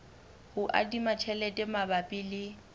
ho adima tjhelete mabapi le